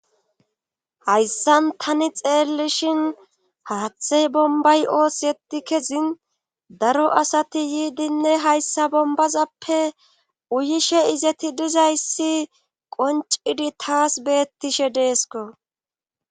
Hayssan tani xeellishin haaththey bombay ooseti kezin daro asati yiidinne hayssa bombazappe uyishe izeti dizayssi qoncidi taas beettishe deesko.